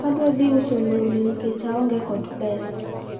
adwa dhi uso lewni nikech aonge kod pesa